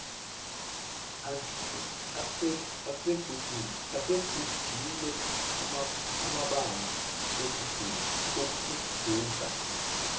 asegugile abanga ukuguga